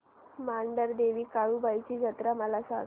मांढरदेवी काळुबाई ची जत्रा मला सांग